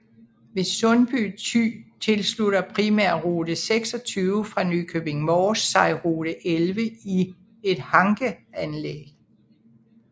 Ved Sundby Thy tilslutter primærrute 26 fra Nykøbing Mors sig rute 11 i et hankeanlæg